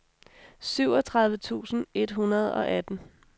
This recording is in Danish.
syvogtredive tusind et hundrede og atten